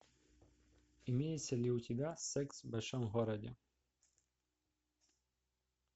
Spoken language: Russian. имеется ли у тебя секс в большом городе